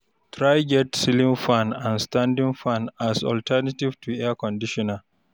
try get ceiling fan and standing fan as alternative to Air conditioner